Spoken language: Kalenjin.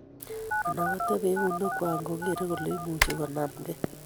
Anan kotebee eunekwak ngogeerei kole imuchi konamgei